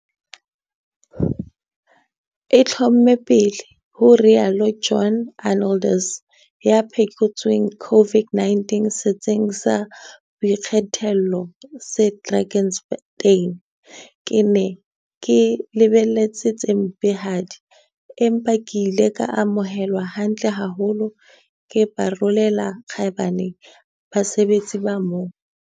E itlhomme pele," ho rialo John Arnoldus, ya phekotsweng COVID-19 setsing sa boikgethollo se Drakenstein. "Ke ne ke lebeletse tse mpehadi, empa ke ile ka amohelwa hantle haholo. Ke ba rolela kgaebane basebetsi ba moo!